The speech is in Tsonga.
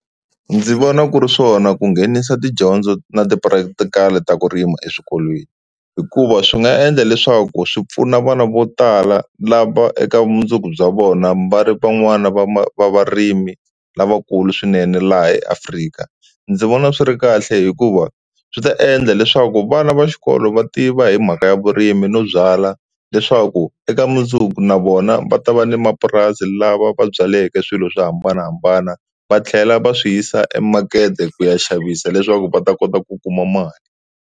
Ndzi vona ku ri swona ku nghenisa tidyondzo na ti-practical ta ku rima eswikolweni hikuva swi nga endla leswaku swi pfuna vana vo tala lava eka vumundzuku bya vona va ri van'wana va va varimi lavakulu swinene laha eAfrika, ndzi vona swi ri kahle hikuva swi ta endla leswaku vana va xikolo va tiva hi mhaka ya vurimi no byala leswaku eka mundzuku na vona va ta va ni mapurasi lava va byaleke swilo swo hambanahambana va tlhela va swi yisa emakete ku ya xavisa leswaku va ta kota ku kuma mali.